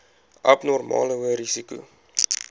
abnormale hoë risiko